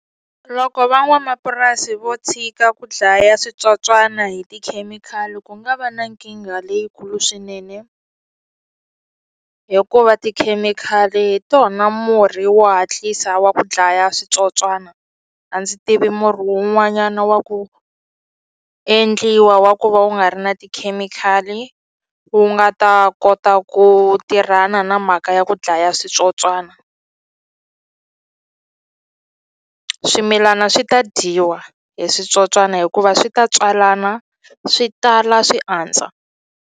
Loko van'wamapurasi vo tshika ku dlaya switsotswana hi tikhemikhali ku nga va na nkingha leyikulu swinene hikuva tikhemikhali hi tona murhi wa hatlisa wa ku dlaya switsotswana a ndzi tivi murhi wun'wanyana wa ku endliwa wa ku va wu nga ri na tikhemikhali wu nga ta kota ku tirhana na mhaka ya ku dlaya switsotswana swimilana swi ta dyiwa hi switsotswani hikuva swi ta tswalana swi tala swi andza.